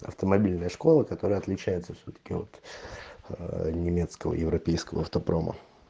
автомобильная школа которая отличается светаки вот от немецкого европейского автопрома